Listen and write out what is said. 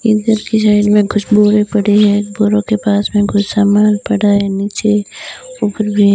इधर की साइड में कुछ बोरे पड़े है बोरो के पास में कुछ सामान पड़ा है नीचे ऊपर भी --